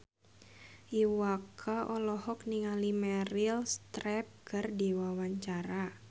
Iwa K olohok ningali Meryl Streep keur diwawancara